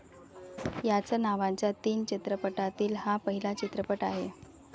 याच नावाच्या तीन चित्रपटातील हा पहिला चित्रपट आहे.